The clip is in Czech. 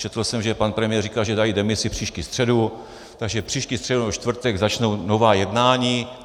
Četl jsem, že pan premiér říkal, že dají demisi příští středu, takže příští středu nebo čtvrtek začnou nová jednání.